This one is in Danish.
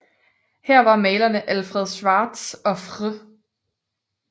Her var malerne Alfred Schwarz og Fr